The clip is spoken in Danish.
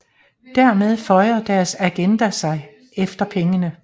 Dermed føjer deres agenda sig efter pengene